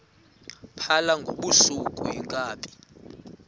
phala ngobusuku iinkabi